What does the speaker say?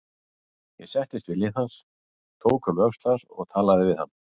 Ég settist við hlið hans, tók um öxl hans og talaði við hann.